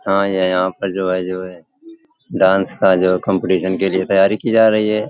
हाँ डांस का जो कॉम्पिटिशन के लिए तैयारी की जा रही है।